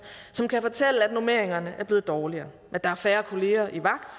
som kan fortælle at normeringerne er blevet dårligere at der er færre kolleger i vagt